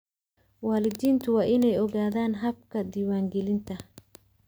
Waalidiintu waa inay ogaadaan habka diiwaangelinta.